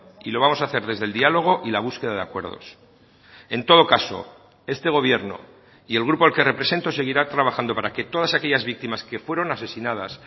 y lo vamos a hacer desde el diálogo y la búsqueda de acuerdos en todo caso este gobierno y el grupo al que represento seguirá trabajando para que todas aquellas víctimas que fueron asesinadas